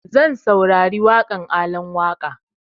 Zan saurari waƙan Alan Waƙa